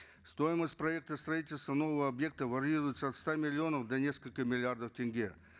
стоимость проекта строительства нового объекта варьируется от ста миллионов до нескольких миллиардов тенге